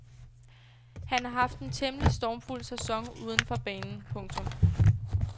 Han har haft en temmelig stormfuld sæson uden for banen. punktum